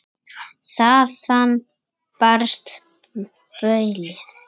Þaðan barst baulið.